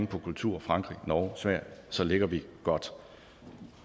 på kultur frankrig norge sverige så ligger vi godt